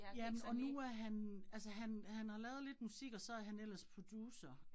Ja men og nu er han, altså han han har lavet lidt musik, og så han ellers producer